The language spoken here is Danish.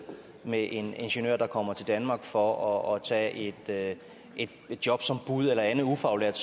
med en ingeniør der kommer til danmark for at tage tage et job som bud eller andet ufaglært